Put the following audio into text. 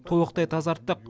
толықтай тазарттық